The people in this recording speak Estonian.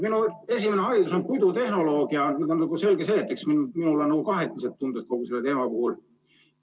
Minu esimene haridus on puidutehnoloogi haridus ja selge see, et mul on kahetised tunded kogu selle teema puhul.